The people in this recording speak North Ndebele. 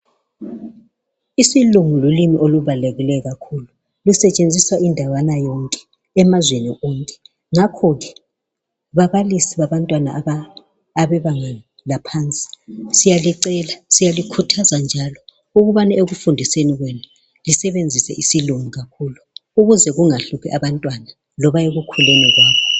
Isilungu lulimi olubalulekileyo kakhulu. Kusetshenziswa endaweni ezingeni emazweni onke. Ngakho ke babalisi babantwana abebanga eliphansi siyalicela siyalikhuthaza njalo ukubana ekufundiseni kwenu lisebenzise isilungu kakhulu ukuze kungahluphi abantwana loba ekukhuleni kwabo.